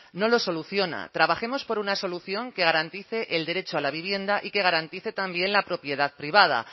no lo soluciona trabajemos por una solución que garantice el derecho a la vivienda y que garantice también la propiedad privada